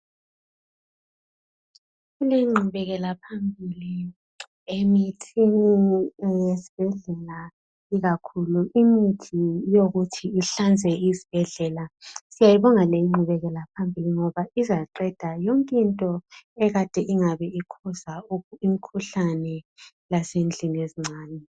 Kulengqubekela phambili, emithini ezibhedlela. Ikakhulu imithi yokuthi ihlanze izibhedlela. Siyayibonga lingqubekela phambili, ngoba izaqeda yonke into ekade ingabe, ikhoza imikhuhlane, lasendlini ezincane.